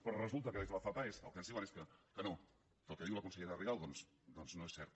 però resulta que des de la fapaes el que ens diuen és que no que el que diu la consellera rigau doncs no és cert